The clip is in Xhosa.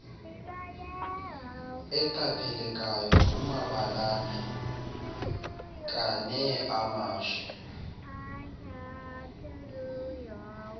eqaphelekayo kumabalana kaneamashe